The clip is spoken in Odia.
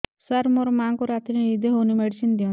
ସାର ମୋର ମାଆଙ୍କୁ ରାତିରେ ନିଦ ହଉନି ମେଡିସିନ ଦିଅନ୍ତୁ